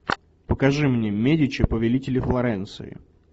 покажи мне медичи повелители флоренции